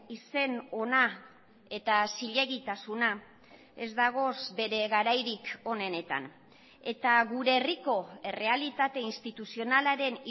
izen hona eta zilegitasuna ez dagoz bere garairik onenetan eta gure herriko errealitate instituzionalaren